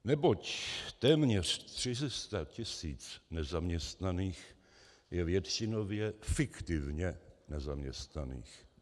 Neboť téměř 400 tisíc nezaměstnaných je většinově fiktivně nezaměstnaných.